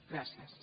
gràcies